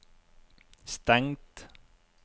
stengt